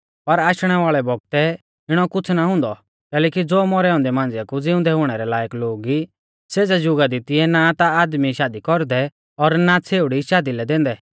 पर आशणै वाल़ै बौगतै इणौ कुछ़ ना हुन्दौ कैलैकि ज़ो मौरै औन्दै मांझ़िया कु ज़िउंदै हुणै लायक लोग ई सेज़ै जुगा दी तिऐ ना ता आदमी शादी कौरदै और ना छ़ेउड़ी शादी लै दैंदै